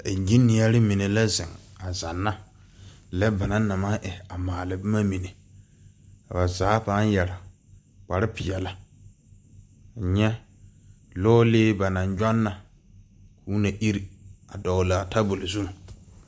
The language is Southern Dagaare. Engineering mene la zeng a zanna le ba nang na mang e buma mene ka ba zaa paa yere kpare peɛle nye loɔlee ba nang jonna kuo na ire a dɔglaa tabuli zu.